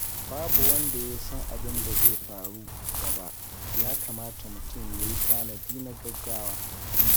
Babu wanda ya san abin da zai faru gaba, ya kamata mutum ya yi tanadi na gaugawa.